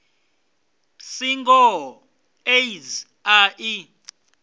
si ngoho aids a i